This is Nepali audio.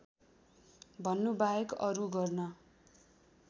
भन्नुबाहेक अरू गर्न